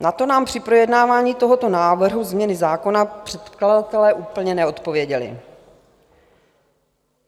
Na to nám při projednávání tohoto návrhu změny zákona předkladatelé úplně neodpověděli.